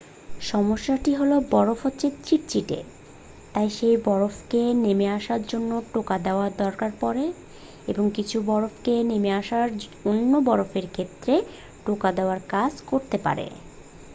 সমস্যাটি হল বরফ হল চিটচিটে তাই সেই বরফের নেমে আসার জন্য টোকা দেওয়ার দরকার পড়ে এবং কিছু বরফের নেমে আসা অন্য বরফের ক্ষেত্রে টোকা দেওয়ার কাজ করতে পারে